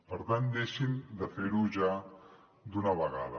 per tant deixin de fer ho ja d’una vegada